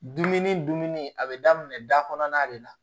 Dumuni dumuni a bɛ daminɛ da kɔnɔna de la